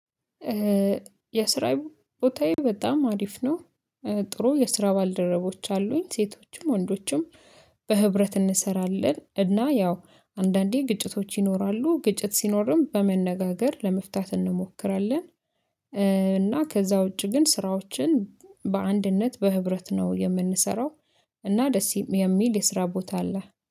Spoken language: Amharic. የስራ ቦታዬ በጣም አሪፍ ነው። ጥሩ የስራ ባልደረቦች አሉኝ ሴቶችም ወንዶችም በህብረት እንሰራለን። እና ያው አንዳንዴ ግጭቶች ይኖራሉ ግጭት ሲኖርም በመነጋገር ለመፍታት እንሞክራለን። እና ከዛ ውጪ ግን ስራዎችን በአንድነት በህብረት ነው የምንሰራው። እና ደስ የሚል የስራ ቦታ አለ